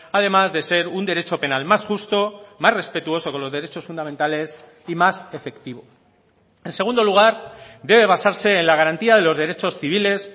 además de ser un derecho penal más justo más respetuoso con los derechos fundamentales y más efectivo en segundo lugar debe basarse en la garantía de los derechos civiles